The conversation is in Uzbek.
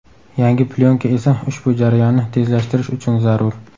Yangi plyonka esa ushbu jarayonni tezlashtirish uchun zarur.